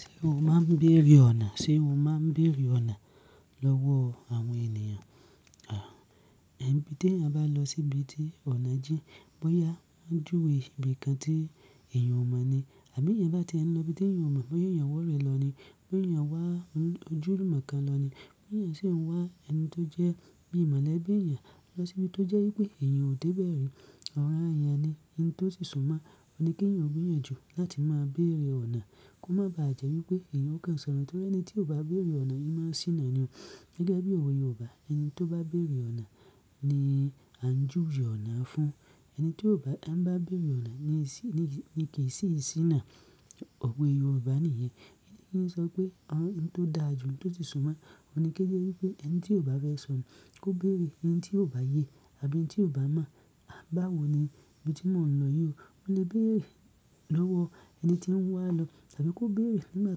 Ṣé o máa ń béèrè ọ̀nà? Ṣé o máa ń béèrè ọ̀nà lọ́wọ́ àwọn ènìyàn? À, níbi tí a bá lọ síbi tí ọ̀nà jín, bóyá a júwe ibi kan tí èèyàn ò mọ̀ ni àbí èèyàn bá ti ń lọ ibi tí èèyàn mọ̀, bóyá èèyàn wọ́rẹ̀ lọ ni, bóyà èèyàn wá ojú ìmọ̀ kan lọ ni, bóyá sì ń wá ẹni tó jẹ́ bí ìmọ̀lẹ́bí èèyàn lọ síbi tó jẹ́ wípé èèyàn ò dé bẹ̀rẹ̀ ọ̀rọ̀ ayẹyẹ ni, ohun tó sì súnmọ́ ọ ni kí èèyàn gbéyànjú láti máa béèrè ọ̀nà. Kó má ba à jẹ́ wípé èèyàn kò ṣọ̀onu, nítorí ẹni tí ò bá béèrè ọ̀nà, imú a sí iná ni o. Gẹ́gẹ́ bí òwe Yorùbá, ẹni tí ó bá béèrè ọ̀nà ni a ń júwe ọ̀nà fún. Ẹni tí ò bá, a bá béèrè ọ̀nà ni kii sì, ni kì í sì sí iná. Ọ̀wẹ Yorùbá nìyẹn. Kí n sọ pé ohun tó da jù ohun tó ti súnmọ́ ọ ni kí ó jẹ́ wípé ẹni tí ò bá fẹ́ sọnù kó béèrè ẹni tí ò bá yé àbí ẹni tí ò bá mọ̀, à bá wò ó ni ibi tí mò ń lọ yí o. Ó lè béèrè lọ́wọ́ ẹni tí ń wá lọ àbí kó béèrè nígbà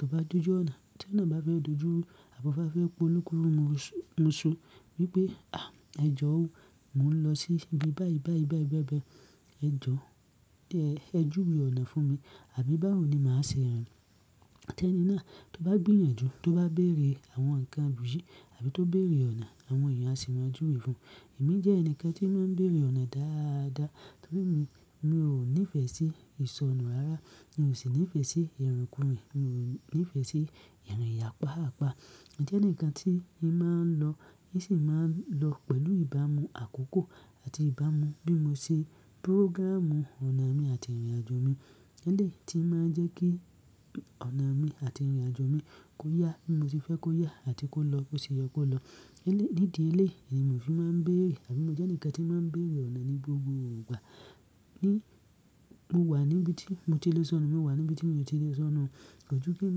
tó bá dojú ọ̀nà. Tí ọ̀nà bá fẹ́ dojú ru abá o fẹ́ polukurumú usù wípé, "Àh ẹ jọ́r o, mò ń lọ sí ibi báyìí, báyìí, báyìí bẹ́ẹ̀ bẹ́ẹ̀. Ẹ jọ́, ẹ júwe ọ̀nà fún mi." Àbí bá wò ó ni màá ṣe rin. Tí ẹni náà tó bá gbìyànjú tó bá béèrè àwọn ǹkan gbòógì àbí tó béèrè ọ̀nà, àwọn èèyàn á sì máa júwe fún un. Èmi jẹ́ ẹni kan tí ó máa ń béèrè ọ̀nà dáadáa, torí emi, mi ò nífẹ̀ẹ́ sí ìsọnù rara, mi ò sì nífẹ̀ẹ́ sí ìrinkùrin, mi ò nífẹ̀ẹ́ sí ìrìn ìyà páàpá. Ǹjẹ́ ẹni kan tí ń máa ń lọ, ihn sì máa ń lọ pẹ̀lú ìbámu àkókò àti ìbámu bí mo ṣe pírọ́gràmù ọ̀nà mi àti ìrìnàjò mi. Ele tí màá jẹ́ kí ọ̀nà mi àti ìrìnàjò mi kó yá bí mo ṣe fẹ́ kó yá àti kó lọ bó ṣe yọ kó lọ. Nídi eléèyi mo fi máa ń béèrè àbí mo jẹ́ ẹni kan tí máa ń béèrè ọ̀nà ní gbogbo ìgbà. Ní, mo wà níbi tí mo ti lè sọnù, mo wà níbi tí èèyàn ti lè sọnù. Kójú kí n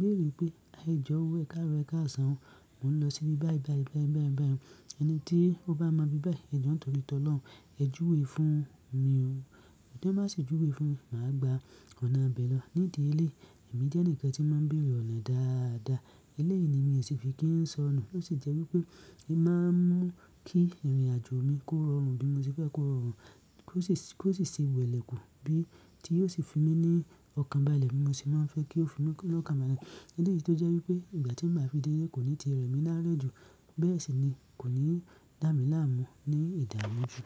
béèrè pé, "À jọr o ẹ̀karọ ẹ̀kasan o, mò ń lọ sí ibi báyìí, báyìí, báyìí, báyìí, báyìí. Ẹni tí ó bá mọ ibi báyìí, ẹ jọ́wọ́ tọ́ri t'ọ́lọ̀un ẹ júwe fún mi o." Tí wọ́n bá sì júwe fún mi, màá gba ọ̀nà abẹ́ lọ. Nídi eléèyi, èmi jẹ́ ẹnìkan tí máa ń béèrè ọ̀nà dáadáa. Eléèyìí ni èmi yóò sì fi kí ń sọnù. Ó sì jẹ́ wípé ihn máa ń mú kí ìrìnàjò mi kó rọrùn bí mo ṣe fẹ́ kó rọrùn. Kó sì, kó sì ṣe wẹ̀lẹ̀ kù bí tí yóò sì fi mí ní ọkàn bàálẹ̀ bí mo ṣe máa ń fẹ́ kí ó fi mí ní ọkàn bàálẹ̀. Eleyii tó jẹ́ wípé ìgbà tí màá fi délé kò ní ti rẹ̀ mí lárẹ jù, bẹ́ẹ̀ sì ni kò ní dá mi láàmú ní ìdààmú jù.